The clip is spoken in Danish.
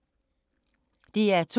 DR2